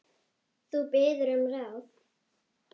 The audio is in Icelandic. Þú biður um ráð.